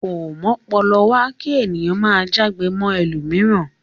Ko m'ọ́pọlọwá ki ènìyàn máa já'gbe mọ ẹlomiran.